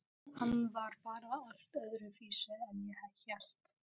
Hann var bara allt öðruvísi en ég hélt.